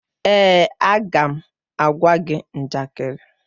Èè, a ga m agwa gị njakịrị.